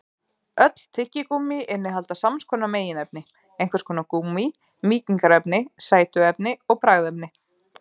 Öll tyggigúmmí innihalda sams konar meginefni: einhvers konar gúmmí, mýkingarefni, sætuefni og bragðefni.